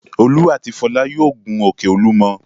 Olú àti Fọlá yóò gun òkè Olúmọ.